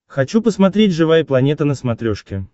хочу посмотреть живая планета на смотрешке